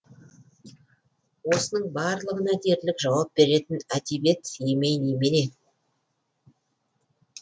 осының барлығына дерлік жауап беретін әдебиет емей не